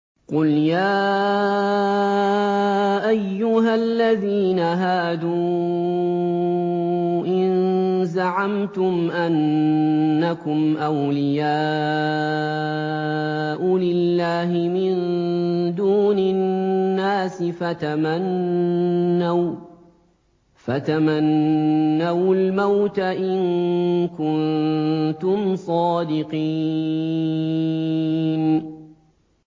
قُلْ يَا أَيُّهَا الَّذِينَ هَادُوا إِن زَعَمْتُمْ أَنَّكُمْ أَوْلِيَاءُ لِلَّهِ مِن دُونِ النَّاسِ فَتَمَنَّوُا الْمَوْتَ إِن كُنتُمْ صَادِقِينَ